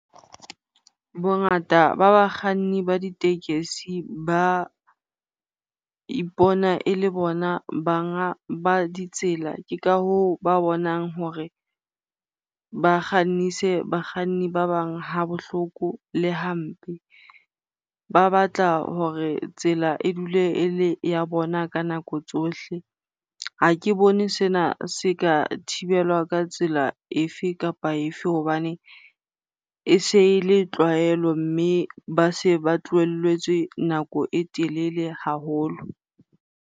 Bongata ba bakganni ba ditekesi ba ipona e le bona banga ba ditsela. Ke ka hoo ba bonang hore ba kgannise bakganni ba bang ha bohloko le hampe. Ba batla hore tsela e dule e le ya bona ka nako tsohle. Ha ke bone sena se ka thibelwa ka tsela efe kapa efe hobane e se e le tlwaelo mme ba se ba tlohelletswe nako e telele haholo.